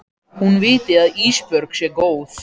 Hún viti að Ísbjörg sé góð.